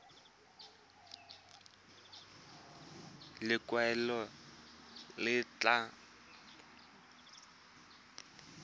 ya lekwalotetla laesense ya go